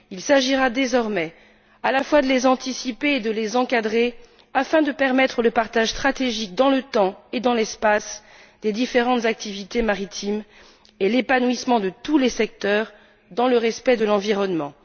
Il s'agira, désormais, à la fois de les anticiper et de les encadrer afin de permettre le partage stratégique dans le temps et dans l'espace des différentes activités maritimes et l'épanouissement de tous les secteurs dans le respect de l'environnement.